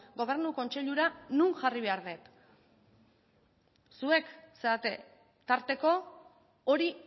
gobernu kontseilura non jarri behar dut zuek zarete tarteko hori